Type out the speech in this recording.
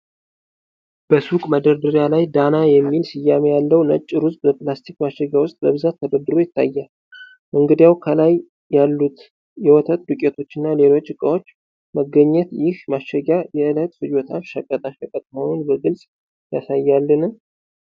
በሱቅ መደርደሪያ ላይ፣ "ዳና" የሚል ስያሜ ያለው ነጭ ሩዝ በፕላስቲክ ማሸጊያ ውስጥ በብዛት ተደርድሮ ይታያል፤ እንግዲያው፣ ከላይ ያሉት የወተት ዱቄቶች እና ሌሎች ዕቃዎች መገኘት ይህ ማሸጊያ የእለት ፍጆታ ሸቀጣ ሸቀጥ መሆኑን በግልጽ ያሳያልን?